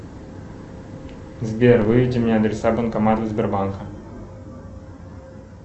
сбер выведи мне адреса банкоматов сбербанка